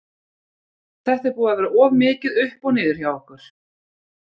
Þetta er búið að vera of mikið upp og niður hjá okkur.